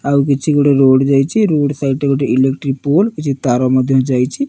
ଆଉ କିଛି ଗୋଟେ ରୋଡ଼ ଯାଇଚି‌ ରୋଡ଼ ସାଇଟ୍ ରେ ଗୋଟେ ଇଲେକ୍ଟ୍ରି ପୋଲ କିଛି ତାର ମଧ୍ୟ ଯାଇଚି।